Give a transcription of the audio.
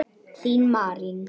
Þín Marín.